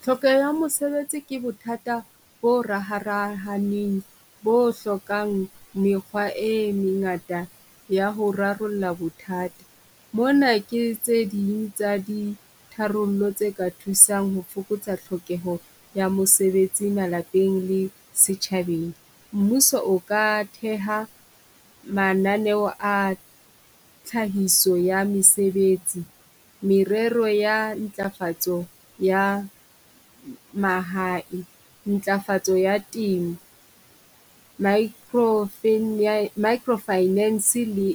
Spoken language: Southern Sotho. Tlhokeho ya mosebetsi ke bothata bo raharahaneng bo hlokang mekgwa e mengata ya ho rarolla bothata. Mona ke tse ding tsa di tharollo tse ka thusang ho fokotsa tlhokeho ya mosebetsi malapeng le setjhabeng. Mmuso o ka theha mananeo a tlhahiso ya mesebetsi, merero ya ntlafatso ya mahae. Ntlafatso ya temo micro micro finance le